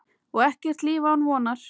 Og ekkert líf án vonar.